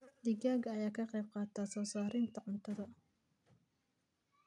Digaagga ayaa ka qayb qaata soo saarista ukunta.